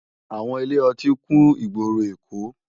Áwòn ilé òtín kún igbóró Ékó